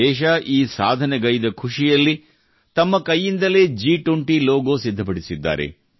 ದೇಶ ಈ ಸಾಧನೆಗೈಯ್ದ ಖುಷಿಯಲ್ಲಿ ತಮ್ಮ ಕೈಯಿಂದಲೇ ಜಿ20 ಲೋಗೋ ಸಿದ್ಧಪಡಿಸಿದ್ದಾರೆ